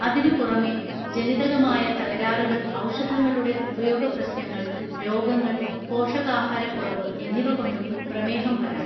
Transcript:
അതിനുപുറമെ ജനികതമായ തകരാറുകൾ ഔഷധങ്ങളുടെ ഉപയോഗ പ്രശ്നങ്ങൾ രോഗങ്ങൾ പോഷകാഹാരക്കുറവ് എന്നിവ കൊണ്ടും പ്രമേഹം വരാം